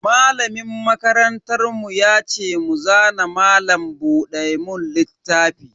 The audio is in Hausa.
Malamin makarantar mu ya ce mu zana malam buɗe mun littafi.